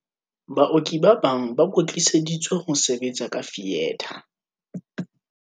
"Baoki ba bang ba kwetliseditswe ho sebetsa ka fietha."